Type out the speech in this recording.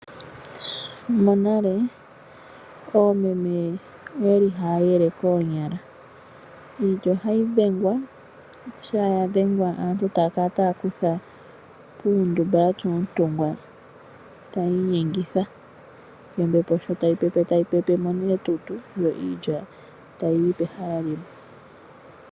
Monale oomeme oyali haya yele koonyala, iilya ohayi dhengwa, shampa ya dhengwa aantu e taya kala taya kutha puundumba yatya oontungwa tayi inyengitha, yo ombepo sho tayi pepe tayi pepe mo etutu yo iilya tayi yi pehala limwe.